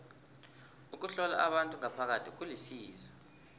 ukuhlola abantu ngaphakathi kulisizo